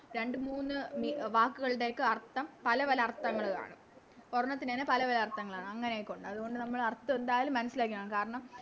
രണ്ട് മൂന്ന് മി വാക്കുകളുടെയൊക്കെ അർത്ഥം പലപല അർത്ഥങ്ങൾ കാണും ഒരെണ്ണത്തിന് തന്നെ പലപല അർത്ഥങ്ങള് കാണും അങ്ങനെയൊക്കെ ഒണ്ട് അതുകൊണ്ട് നമ്മള് അർത്ഥം എന്തായാലും മനസ്സിലാക്കിക്കോണം കാരണം